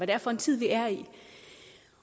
det er for en tid vi er i